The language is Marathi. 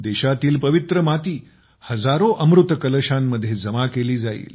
देशातील पवित्र माती हजारो अमृत कलशांमध्ये जमा केली जाईल